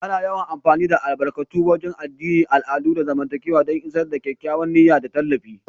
Ana yawan amfani da albarkatu a wagen addini, al'adu, da zamantakewa don isar da kyakkyawar niyya da tallafi.